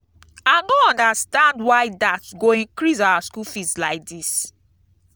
i no understand why dat go increase our school fees like dis.